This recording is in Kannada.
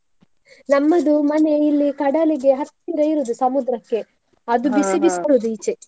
ನಮ್ಮದು ಮನೆ ಇಲ್ಲಿ ಕಡಲಿಗೆ ಹತ್ತಿರ ಇರೋದು ಸಮುದ್ರಕ್ಕೆ ಅದು .